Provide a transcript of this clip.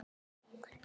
Ég er að rugla.